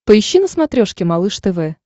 поищи на смотрешке малыш тв